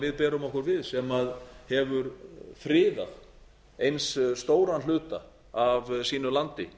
við berum okkur við sem hefur friðað eins stóran hluta af sínu landi